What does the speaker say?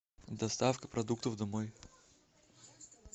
доставка продуктов домой